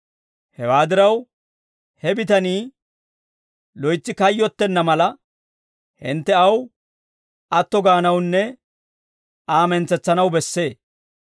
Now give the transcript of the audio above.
Hewaa diraw, he bitanii loytsi kayyottenna mala, hintte aw atto gaanawunne Aa mentsetsanaw bessee.